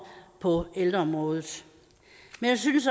på ældreområdet men jeg synes